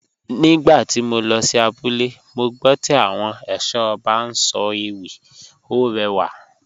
Nígbà tí mo lọ sí abúlé, mo gbọ́ tí àwọn ẹ̀ṣọ́ ọba ń sọ ewì, ó rẹwà